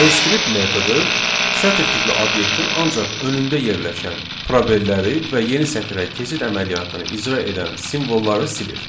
L strip metodu sətir tipli obyektin ancaq önündə yerləşən probelləri və yeni sətrə keçid əməliyyatını icra edən simvolları silir.